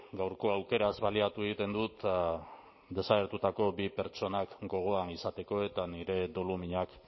gaurko aukeraz baliatu egiten dut eta desagertutako bi pertsonak gogoan izateko eta nire doluminak